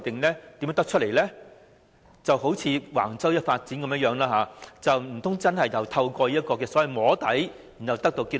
難道真的好像橫洲發展一樣，是透過所謂"摸底"得出結論？